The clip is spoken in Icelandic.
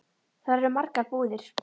Þar eru margar búðir.